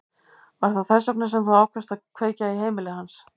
Var það þess vegna sem þú ákvaðst að kveikja í heimili hans?